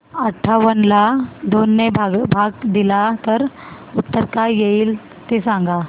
अठावन्न ला दोन ने भाग दिला तर उत्तर काय येईल ते सांगा